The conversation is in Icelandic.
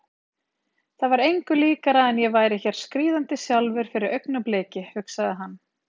Það var engu líkara en ég væri hér skríðandi sjálfur fyrir augnabliki, hugsaði hann.